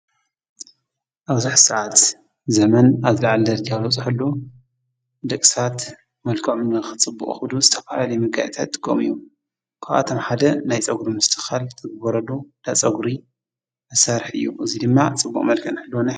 ኣብዚ ሐዚ ሰዓት ዘመን ኣብ ዝልዓለ ደርጃ ልበፅሕሉ ደቂ ሰባት መልክዖም ንኽፅብቑ ክብሉ ዝተፈላለዩ መጋየፅታት ይጥቀሙ እዮም ካብኣቶም ሓደ ናይ ፀጕሪ ምስትኽኻል ዝግበረሉ ዳፀጉሪ መሳርሒ እዩ እዙይ ድማ ፅቡቕ መልክዕ ክህልወና